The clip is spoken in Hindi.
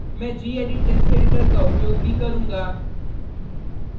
मैं gedit टेक्स्ट एडिटर का उपयोग भी करूँगा